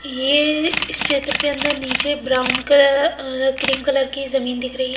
ये इस चित्र के अंदर नीचे ब्राउन कलर क्रीम कलर की जमीन दिख रही है।